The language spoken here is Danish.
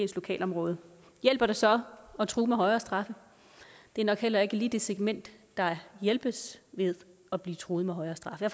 lokalområde hjælper det så at true med højere straffe det er nok heller ikke lige det segment der hjælpes ved at blive truet med højere straffe